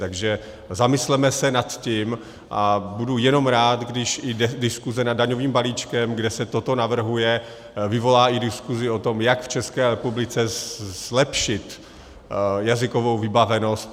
Takže zamysleme se nad tím a budu jenom rád, když i diskuse nad daňovým balíčkem, kde se toto navrhuje, vyvolá i diskusi o tom, jak v České republice zlepšit jazykovou vybavenost.